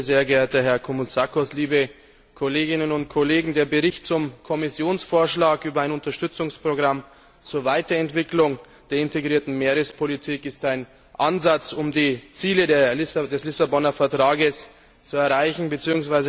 Sehr geehrter Herr Koumoutsakos, Liebe Kolleginnen und Kollegen! Der Bericht zum Kommissionsvorschlag über ein Unterstützungsprogramm zur Weiterentwicklung der integrierten Meerespolitik ist ein Ansatz, um die Ziele des Vertrags von Lissabon zu erreichen bzw.